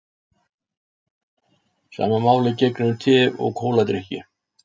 Sama máli gegnir um te og kóladrykki.